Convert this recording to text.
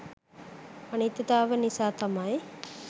අනිත්‍යතාව නිසා තමයි